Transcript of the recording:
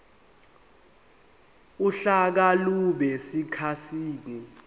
uhlaka lube sekhasini